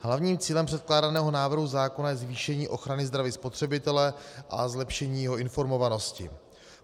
Hlavním cílem předkládaného návrhu zákona je zvýšení ochrany zdraví spotřebitele a zlepšení jeho informovanosti.